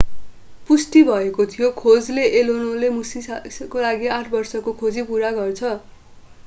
पुष्टि भयो भने खोजले allen 0ले मुशाशीका लागि आठ बर्षको खोजी पूरा गर्छ